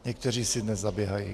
Někteří si dnes zaběhají.